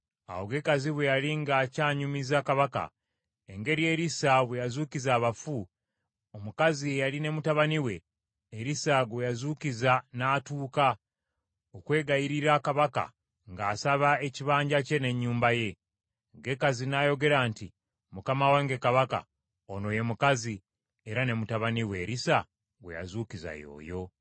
Awo Gekazi bwe yali ng’akyanyumiza kabaka, engeri Erisa bwe yazuukiza abafu, omukazi eyali ne mutabani we, Erisa gwe yazuukiza n’atuuka, okwegayirira kabaka ng’asaba ekibanja kye n’ennyumba ye. Gekazi n’ayogera nti, “Mukama wange kabaka, ono ye mukazi, era ne mutabani we Erisa gwe yazuukiza y’oyo.”